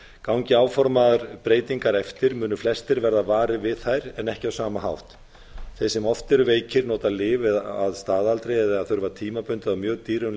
gangi áformaðar breytingar eftir munu flestir verða varir við þær en ekki á sama hátt þeir sem oft eru veikir nota lyf að staðaldri eða þurfa tímabundið á mjög dýrum